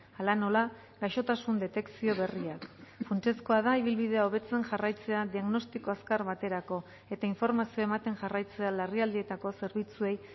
hala nola gaixotasun detekzio berriak funtsezkoa da ibilbidea hobetzen jarraitzea diagnostiko azkar baterako eta informazioa ematen jarraitzea larrialdietako zerbitzuei